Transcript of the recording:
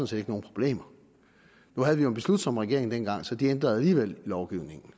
set ikke nogen problemer nu havde vi jo en beslutsom regering dengang så de ændrede alligevel lovgivningen